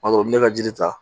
O b'a sɔrɔ n bɛ ka jiri ta